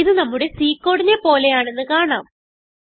ഇത് നമ്മുടെ C കോഡിനെ പോലെയാണെന്ന് കാണാം